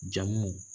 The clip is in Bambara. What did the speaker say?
Jamuw